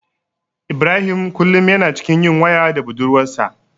Ibrahim kullum yana cikin yin waya da budurwarsa.